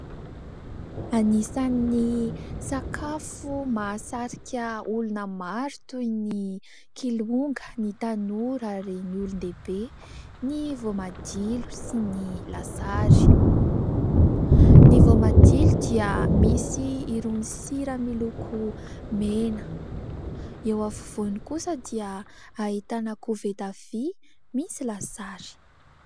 Anisan'ny sakafo mahasarika olona maro toy ny kilonga, ny tanora ary ny olon-dehibe ny voamadilo sy ny lasary. Ny voamadilo dia misy irony sira miloko mena. Eo afovoany kosa dia ahitana koveta vỳ misy lasary.